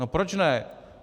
No proč ne?